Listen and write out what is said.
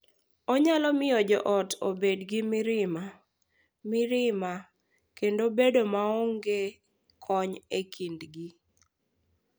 Onyalo miyo jo ot obed gi mirima, mirima, kendo bedo maonge kony e kindgi.